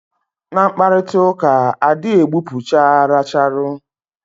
Na mkparitauka, a dị gbupucha racharu